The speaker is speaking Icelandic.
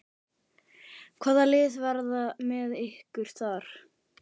Hvaða lið verða með ykkur þar?